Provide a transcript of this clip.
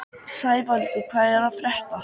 Sævaldur, hvað er að frétta?